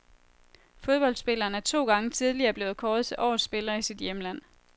Fodboldspilleren er to gange tidligere blevet kåret til årets spiller i sit hjemland.